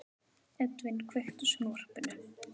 Edvin, kveiktu á sjónvarpinu.